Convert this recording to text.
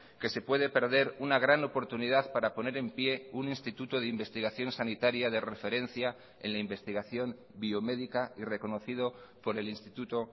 que se puede perder una gran oportunidad para poner en pie un instituto de investigación sanitaria de referencia en la investigación biomédica y reconocido por el instituto